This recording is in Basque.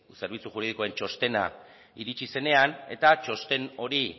zerbitzu juridikoen txostena iritsi zenean eta txosten hori